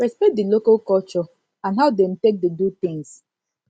respect di local culture and how dem take dey do things